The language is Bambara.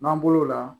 N'an bɔr'o la